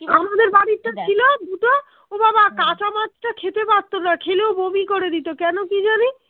আমাদের বাড়িতে ছিল দুটো ওবাবা কাঁচা মাছ টা খেতে পারতোনা খেলেও বমি করে দিতো কেন কি জানি